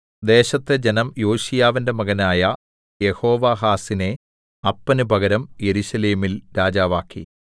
ദേശത്തെ ജനം യോശീയാവിന്റെ മകനായ യെഹോവാഹാസിനെ അപ്പന് പകരം യെരൂശലേമിൽ രാജാവാക്കി